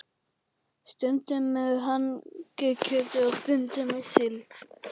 Stundum með hangikjöti og stundum með síld.